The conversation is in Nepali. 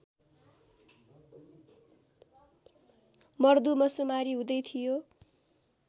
मर्दुमशुमारी हुँदै थियो